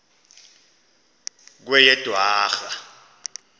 kweyedwarha